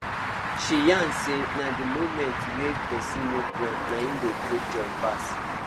she yarn say na the moments way person no plan nai dey bring joy pass